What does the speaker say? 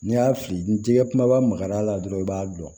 N'i y'a fili ni tigɛ kumaba magar'a la dɔrɔn i b'a dɔn